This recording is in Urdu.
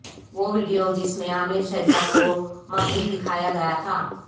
وہ ویڈیو جس میں عامر شہزاد کو مغوی دکھایا گیا تھا